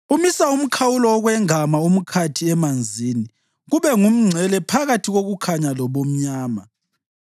Umisa umkhawulo wokwengama umkhathi emanzini kube ngumngcele phakathi kokukhanya lobumnyama.